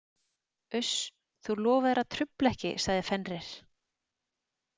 Uss, þú lofaðir að trufla ekki, sagði Fenrir.